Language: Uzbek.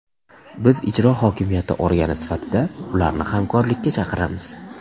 Biz ijro hokimiyati organi sifatida ularni hamkorlikka chaqiramiz.